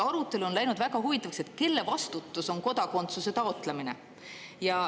Arutelu on läinud väga huvitaks, et kelle vastutus on kodakondsuse taotlemine.